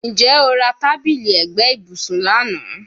Njẹ o ra tabili ẹgbẹ ibusun lana?